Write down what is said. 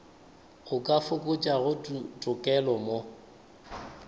o ka fokotšago tokelo mo